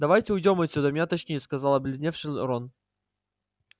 давайте уйдём отсюда меня тошнит сказал побледневший рон